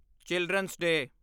children's ਡੇ